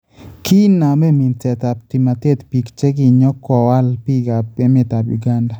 Kiinaame minseetaab tumateet biik chekinyokowaal biikaab emetab Uganda